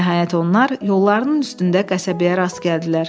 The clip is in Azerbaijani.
Nəhayət onlar yollarının üstündə qəsəbəyə rast gəldilər.